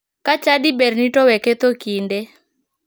Ka chadi berni to we ketho kinde.